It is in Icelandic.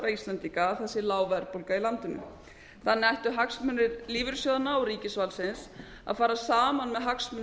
íslendinga að það sé lág verðbólga í landinu þannig ættu hagsmunir lífeyrissjóðanna og ríkisvaldsins að fara saman með hagsmunum